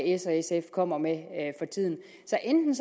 s og sf kommer med for tiden så enten